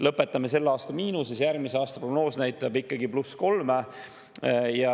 Lõpetame selle aasta miinuses, aga järgmise aasta prognoos näitab ikkagi pluss kolme.